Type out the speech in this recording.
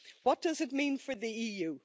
What does it mean for the EU?